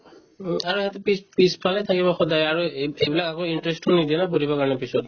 উম, আৰু সিহঁতে পিছ~পিছফালে থাকিব সদায় আৰু এইব~ এইবিলাক আকৌ interest নিদিলে পঢ়িবৰ কাৰণে পিছত